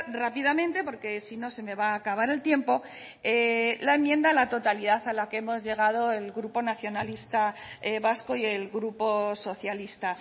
rápidamente porque si no se me va a acabar el tiempo la enmienda a la totalidad a la que hemos llegado el grupo nacionalista vasco y el grupo socialista